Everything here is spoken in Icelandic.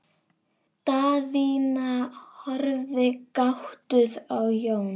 Daðína horfði gáttuð á Jón.